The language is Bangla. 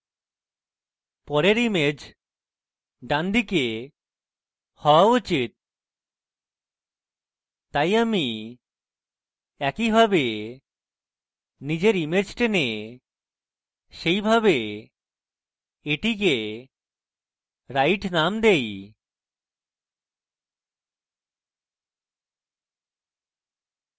পরের image ডানদিকে হওয়া উচিত তাই আমি একইভাবে নিজের image টেনে সেইভাবে এটিকে right name দেই